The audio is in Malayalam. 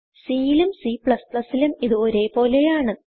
C യിലും Cലും ഇത് ഒരേ പോലെയാണ്